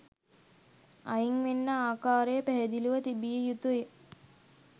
අයින් වෙන්න ආකාරය පැහැදිලිව තිබිය යුතුයි.